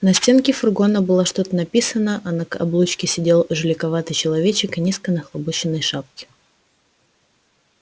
на стенке фургона было что-то написано а на облучке сидел жуликоватый человечек в низко нахлобученной шляпе